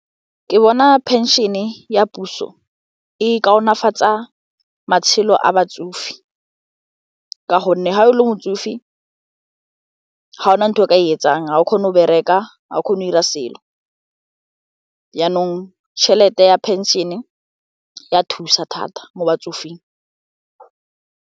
Ke bona pension ya puso e kaonafatsa matshelo a batsofe ka gonne ga o le motsofe ga o na ntho eo ka e etsang ga o kgone go bereka, ga o kgona go ira selo yanong tšhelete ya pension-e ya thusa thata mo batsofeng.